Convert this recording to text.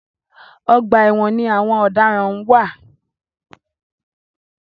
Ọgbà ẹwọn ni àwọn ọ̀daràn ń wà.